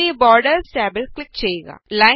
ഇനി ബോറ്ഡേര്സ് ടാബില് ക്ലിക് ചെയ്യുക